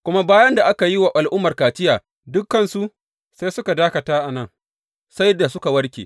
Kuma bayan da aka yi wa al’ummar kaciya dukansu, sai suka dakata a nan, sai da suka warke.